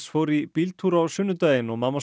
fór í bíltúr á sunnudaginn og mamma